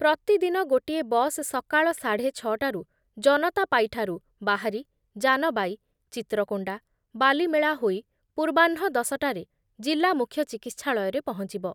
ପ୍ରତିଦିନ ଗୋଟିଏ ବସ୍ ସକାଳ ସାଢ଼େ ଛଟାରୁ ଜନତାପାଇଠାରୁ ବାହାରି ଜାନବାଇ, ଚିତ୍ରକୋଣ୍ଡା, ବାଲିମେଳା ହୋଇ ପୂର୍ବାହ୍ନ ଦଶଟାରେ ଜିଲ୍ଲା ମୁଖ୍ୟଚିକିତ୍ସାଳୟରେ ପହଞ୍ଚିବ ।